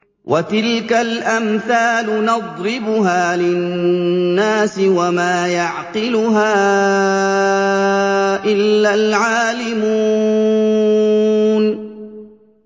وَتِلْكَ الْأَمْثَالُ نَضْرِبُهَا لِلنَّاسِ ۖ وَمَا يَعْقِلُهَا إِلَّا الْعَالِمُونَ